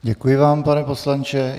Děkuji vám, pane poslanče.